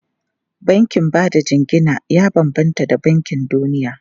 Bankin ba da jingina ya bambanta da bankin duniya.